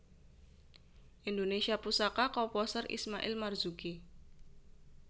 Indonesia Pusaka Komposer Ismail Marzuki